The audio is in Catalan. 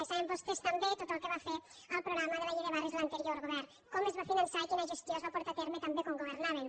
saben vos·tès també tot el que va fer al programa de la llei de barris l’anterior govern com es va finançar i quina gestió es va portar a terme també quan governaven